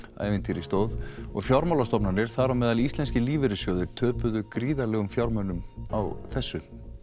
ævintýri stóð og fjármálastofnanir þar á meðal íslenskir lífeyrissjóðir töpuðu gríðarlegum fjármunum á þessu